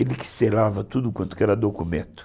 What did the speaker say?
Ele que selava tudo quanto era documento.